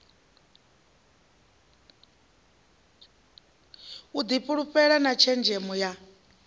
u difhulufhela na tshenzhemo ya